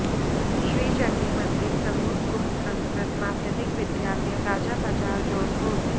Shri Chandi Mandir Swarup Gupt Sanskrit Madhyamik Vidyalaya Rajabazar Jaunpur